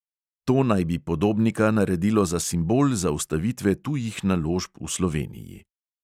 To naj bi podobnika naredilo za simbol zaustavitve tujih naložb v sloveniji.